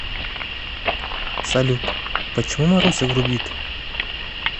салют почему маруся грубит